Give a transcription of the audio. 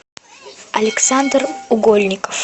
александр гольников